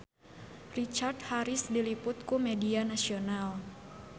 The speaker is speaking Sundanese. Richard Harris diliput ku media nasional